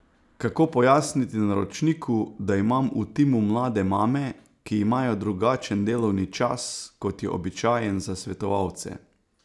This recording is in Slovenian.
Kako pojasniti naročniku, da imam v timu mlade mame, ki imajo drugačen delovni čas, kot je običajen za svetovalce?